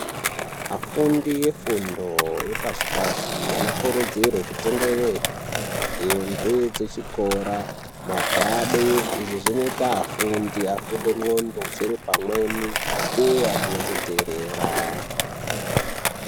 Afundi efundo yepashi pashi anokurudzirwa kutenge hembe dzechikora magwadi izvo zvinoita afundi afunde ndxondo dziri pamweni uye achinatsoteerera.